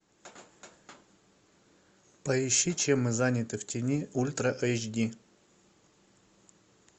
поищи чем мы заняты в тени ультра эйч ди